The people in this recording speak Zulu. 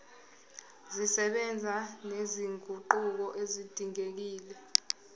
zisebenza nezinguquko ezidingekile